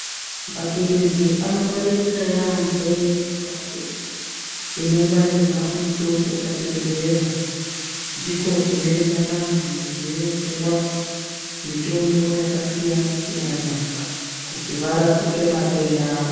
Mapirisi anongwaririka yaambo mumbatso inongwarirwa mutombo pachibhedhlera .Ndiko kunoenda vantu vaindopuwa mitombo yakasiyana siyana kuti varapike matenda avo.